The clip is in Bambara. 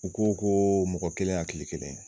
U ko ko mɔgɔ kelen hakili kelen.